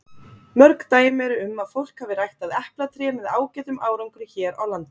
Mörg dæmi eru um að fólk hafi ræktað eplatré með ágætum árangri hér á landi.